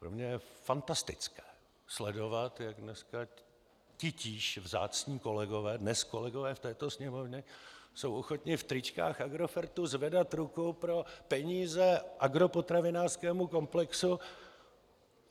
Pro mě je fantastické sledovat, jak dneska titíž vzácní kolegové, dnes kolegové v této Sněmovně, jsou ochotni v tričkách Agrofertu zvedat ruku pro peníze agropotravinářskému komplexu.